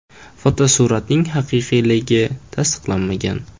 Fotosuratning haqiqiyligi tasdiqlanmagan.